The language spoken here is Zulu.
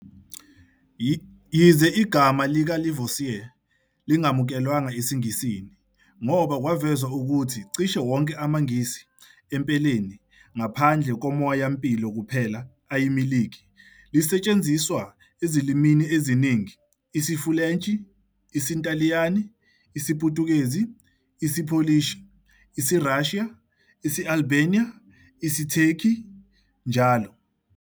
Yize igama likaLavoisier lingamukelwanga esiNgisini, ngoba kwavezwa ukuthi cishe wonke amagesi, empeleni, ngaphandle komoya-mpilo kuphela, ayimilikhi, lisetshenziswa ezilimini eziningi, isiFulentshi, isiNtaliyane, isiPutukezi, isiPolish, isiRussia, isi-Albania, IsiTurkey, njll.